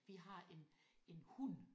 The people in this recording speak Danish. Vi har en en hund